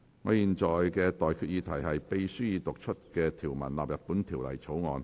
我現在向各位提出的待決議題是：秘書已讀出的條文納入本條例草案。